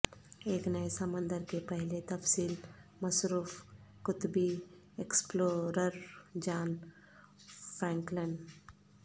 ایک نئے سمندر کے پہلے تفصیل مصروف قطبی ایکسپلورر جان فرینکلن